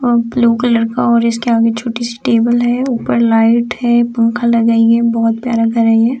और blue colour का और इसके आगे छोटे से टेबल है ऊपर लाइट है पंखा लगाई है बोहत प्यारा घर है ये।